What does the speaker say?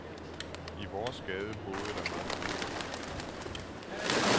I vores gade boede der mange familier.